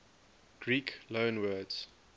greek loanwords